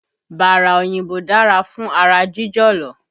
Bára òyìnbó dára fún ara jíjọ̀lọ̀